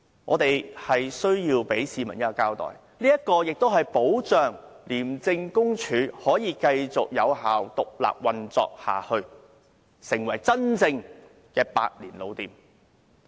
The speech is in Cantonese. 我們要向市民交代，亦要保障廉署可以繼續獨立運作，成為真正的百年老店。